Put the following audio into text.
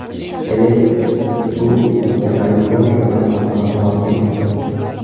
Elektr, suv va kanalizatsiya tarmoqlari tortildi.